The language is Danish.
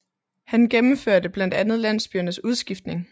Han gennemførte blandt andet landsbyernes udskiftning